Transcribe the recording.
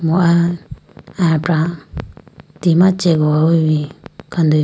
mo ah ayapra tima chegowayi bi khandeya bo.